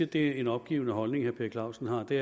det er en opgivende holdning herre per clausen har er det